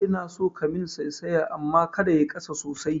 Ina so kayi min saisaya amma kada yayi ƙasa sosai